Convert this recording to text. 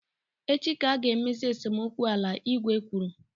Echi ka a ga emezi esemokwu ala, igwe kwuru.